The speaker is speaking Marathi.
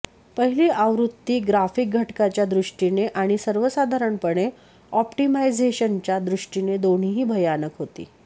पहिली आवृत्ती ग्राफिक घटकाच्या दृष्टीने आणि सर्वसाधारणपणे ऑप्टिमायझेशनच्या दृष्टीने दोन्हीही भयानक होती